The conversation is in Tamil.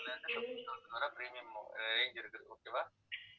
premium arange இருக்குது. okay வா